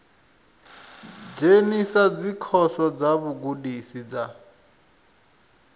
dzhenisa dzikhoso dza vhugudisi dza